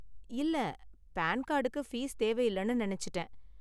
இல்ல, பான் கார்டுக்கு பீஸ் தேவையில்லனு நினைச்சுட்டேன்.